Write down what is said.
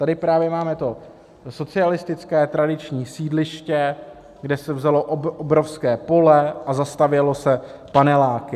Tady právě máme to socialistické tradiční sídliště, kde se vzalo obrovské pole a zastavělo se paneláky.